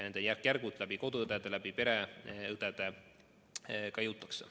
Nendeni järk-järgult tänu pereõdedele ka jõutakse.